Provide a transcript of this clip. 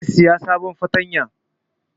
Zai saya sabon fartanya